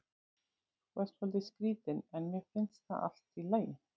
Þú ert svolítið skrítinn en mér finnst það allt í lagi.